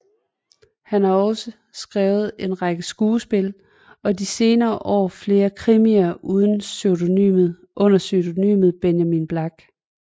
Han har også skrevet en række skuespil og de senere år flere krimier under pseudonymet Benjamin Black